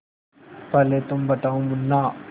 पहले तुम बताओ मुन्ना